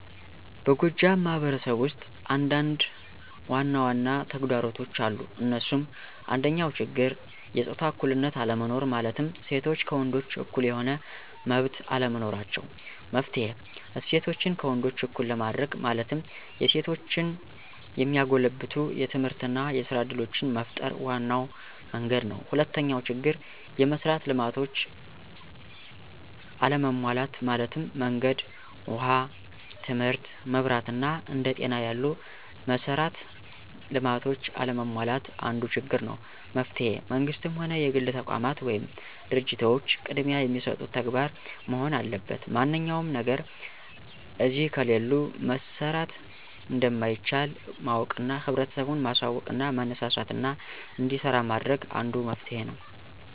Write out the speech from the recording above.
በጎጃም ማህበረሰብ ውስጥ አንዳንድ ዋናዋና ተግዳሮቶች አሉ እንሱም፦ አንደኛው ችግር የጾታ እኩልነት አለመኖር ማለትም ሴቶች ከወንዶች እኩል የሆነ መመብት አለመኖራቸው። መፍትሔ :እሴቶችን ከወንዶች እኩል ለማድርግ ማለትም የሴቶችን የሚያጎለብቱ የትምህርትና የስራ እድሎችን መፍጠር ዋናው መንግድ ነው። ሁለተኛው ችግር፦ የመሥራት ልማቶች አለመሟላት ማለትም መንገድ፣ ውሃ ትምህርት፣ መብራት አና አንደ ጤና ያሉ መሠራት ልማቶች አለመሟላት አንዱ ችግር ነው። መፍትሔ መንግስትም ሆነ የግል ተቋማት ወይም ድርጂቶች ቅድሚያ የሚሰጡት ተግባር መሆን አለበት ማንኛውም ነገር እነዚህ ከሌሉ መሠራት እንደማይቻል ማወቅና ህብረተሰቡን ማሳውቅና ማነሳሳትና እንዲሰራ ማድረግ አንዱ መፍትሔ ነው።